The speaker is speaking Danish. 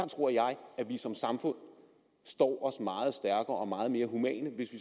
tror jeg vi som samfund står meget stærkere og meget mere humant hvis